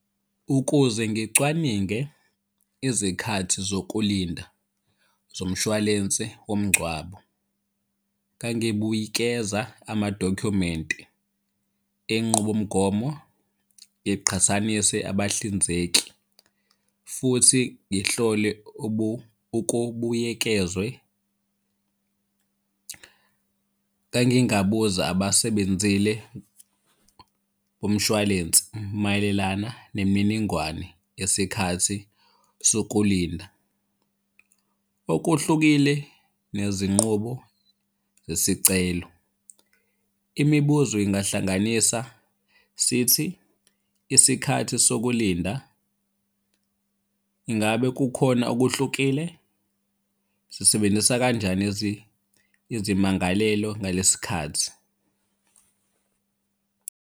Ukuze ngicwaninge izikhathi zokulinda zomshwalense womngcwabo, ngangibuyikeza amadokhumenti enqubomgomo, ngiqhathanise abahlinzeki futhi ngihlole ukubuyekezwe. Ngangingabuza abasebenzile bomshwalensi mayelelana nemininingwane yesikhathi sokulinda. Okuhlukile nezinqubo zesicelo, imibuzo ingahlanganisa sithi isikhathi sokulinda. Ingabe kukhona okuhlukile? Sisebenzisa kanjani izimangalelo ngalesi khathi.